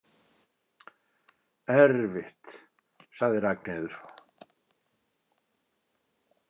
Erfitt, sagði Ragnheiður.